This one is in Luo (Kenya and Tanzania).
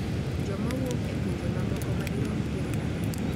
Joma wuok e pinje mamoko madirom piero adek,